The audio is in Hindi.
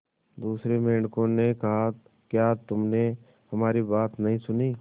दूसरे मेंढकों ने कहा क्या तुमने हमारी बात नहीं सुनी